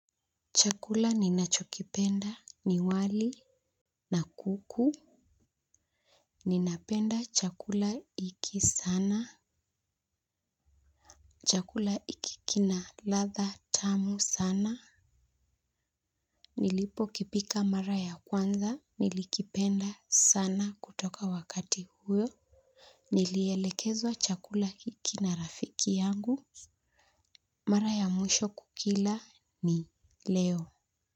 Chakula ninachokipenda ni wali na kuku. Ninapenda chakula hiki sana. Chakula hiki kina ladha tamu sana. Nilipo kipika mara ya kwanza. Nilikipenda sana kutoka wakati huyo. Nilielekezwa chakula hiki na rafiki yangu. Mara ya mwisho kukila ni leo.